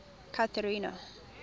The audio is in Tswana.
cathrina